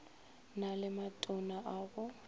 na le matona a go